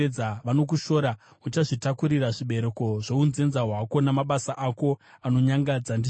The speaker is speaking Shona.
Uchazvitakurira zvibereko zvounzenza hwako namabasa ako anonyangadza, ndizvo zvinotaura Jehovha.